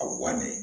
A wannen